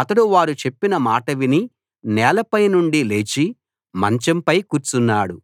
అతడు వారు చెప్పిన మాట విని నేలపై నుండి లేచి మంచంపై కూర్చున్నాడు